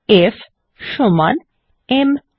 F সমান m আ